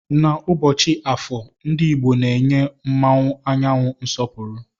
Na ụbọchi afọọ ndi igbo na enye mụọnwu anyanwu nsọpuru.